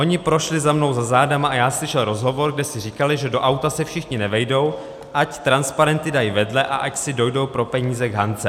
Oni prošli za mnou za zádama a já slyšel rozhovor, kde si říkali, že do auta se všichni nevejdou, ať transparenty dají vedle a ať si dojdou pro peníze k Hance.